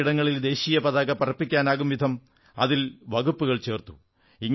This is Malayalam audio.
പൊതു ഇടങ്ങളിൽ ദേശീയ പതാക പറപ്പിക്കാനാകും വിധം അതിൽ വകുപ്പുകൾ ചേർത്തു